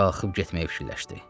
Qalxıb getməyə fikirləşdi.